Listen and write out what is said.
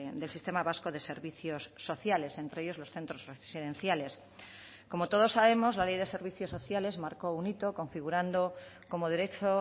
del sistema vasco de servicios sociales entre ellos los centros residenciales como todos sabemos la ley de servicios sociales marcó un hito configurando como derecho